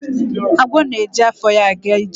Agwọ na-eji afọ ya aga ije.